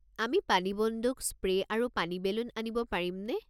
আমি পানী বন্দুক, স্প্ৰে' আৰু পানী বেলুন আনিব পাৰিমনে?